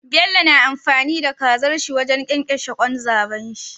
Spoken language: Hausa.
Bello na amfani da kazar shi wajan kyankyashe kwan zabon shi